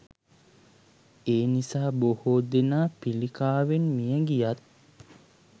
එනිසා බොහෝ දෙනා පිළිකාවෙන් මියගියත්